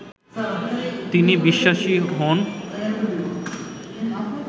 তিনি বিশ্বাসী হোন